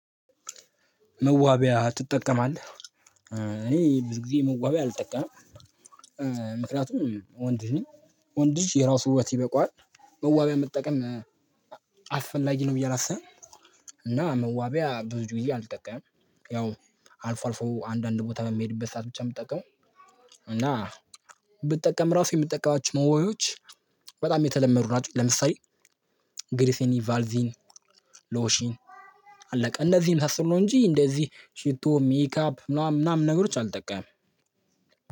መዋቢያ ትጠቀማለህ እኔ ብዙ ጊዜ መዋቢያ አልጠቀምም። ምክንያቱም ወንድ ልጅ ነኝ ወንድ ልጅ የራሱ ውበት ይበቃዋል። መዋቢያ መጠቀም አስፈላጊ ነው ብዬ አላስብም። እና መዋቢያ ብዙ ጊዜ አልጠቀምም። ያው አልፎ አልፎ አንዳንድ ቦታ በምሄድበት ሰዓት ብቻ ነው የምጠቀመው። እና ብጠቀም ራሱ የምጠቀማቸው መዋቢያዎች። በጣም የተለመዱ ናቸው። ለምሳሌ ግርስኒ ቫዚሊን ሎሺን አለቀ እነዚህ የመሳሰሉ ነው እንጂ እንደዚህ ሽቶ ሜካፕ ምናምን ምናምን ነገሮች አልጠቀምም።